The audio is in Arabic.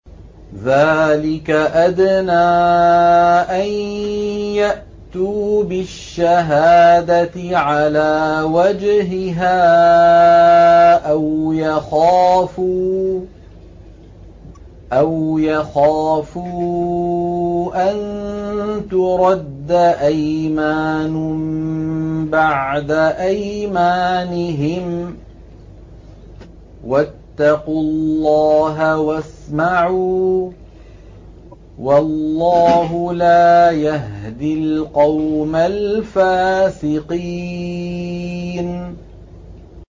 ذَٰلِكَ أَدْنَىٰ أَن يَأْتُوا بِالشَّهَادَةِ عَلَىٰ وَجْهِهَا أَوْ يَخَافُوا أَن تُرَدَّ أَيْمَانٌ بَعْدَ أَيْمَانِهِمْ ۗ وَاتَّقُوا اللَّهَ وَاسْمَعُوا ۗ وَاللَّهُ لَا يَهْدِي الْقَوْمَ الْفَاسِقِينَ